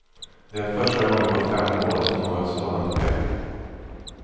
Det är första gången på fem år som något sådant sker.